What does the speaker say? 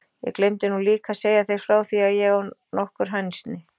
Ég gleymdi nú líka að segja þér frá því að ég á nokkur hænsni.